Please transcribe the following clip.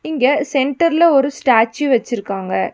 இங்க சென்டர்ல ஒரு ஸ்டாச்சு வச்சிருக்காங்க.